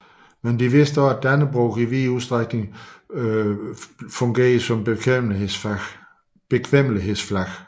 Men de vidste også at Dannebrog i vid udstrækning fungerede som bekvemmelighedsflag